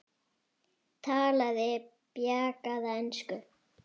Talaði bjagaða ensku: